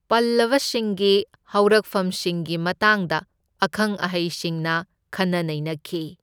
ꯄꯜꯂꯕꯁꯤꯡꯒꯤ ꯍꯧꯔꯛꯐꯝꯁꯤꯡꯒꯤ ꯃꯇꯥꯡꯗ ꯑꯈꯪ ꯑꯍꯩꯁꯤꯡꯅ ꯈꯟꯅ ꯅꯩꯅꯈꯤ꯫